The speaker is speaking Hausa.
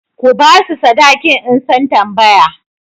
Ku ba su sadakin in sun tambaya!